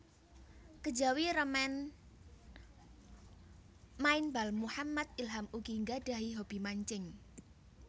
Kejawi remen main bal Muhammad Ilham ugi nggadhahi hobi mancing